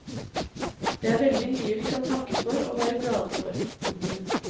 Det er veldig mye vi kan takke for og være glade for. punktum